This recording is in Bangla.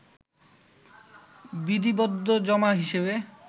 বিধিবদ্ধ জমা হিসেবে